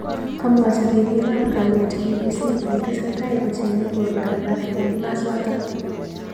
Kamwochi ribik ab kaliet BBC kole tesetai kochengei borwek alak eng kimosatak.